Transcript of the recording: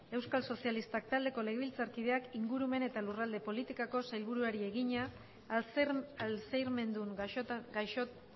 euskal sozialistak taldeko legebiltzarkideak ingurumen eta lurralde politikako sailburuari egina alzheimerdun gaixo